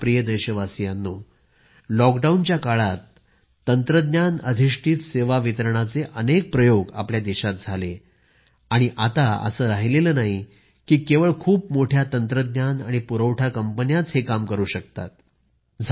माझ्या प्रिय देशवासीयांनो लॉकडाऊनच्या काळात तंत्रज्ञान अधिष्ठित सेवा वितरणाचे अनेक प्रयोग आपल्या देशात झाले आणि आता असे राहिलेले नाही की केवळ खूप मोठ्या तंत्रज्ञान आणि पुरवठा कंपनीच हे काम करू शकतात